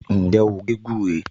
Ǹjẹ́ o gé gúré?